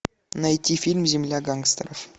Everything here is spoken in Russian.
найти фильм земля гангстеров